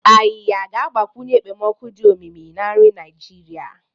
Ayiya ga-agbakwunye ekpomeekpo dị omimi na nri Naijiria.